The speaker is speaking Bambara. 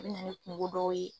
A bi na ni kungo dow ye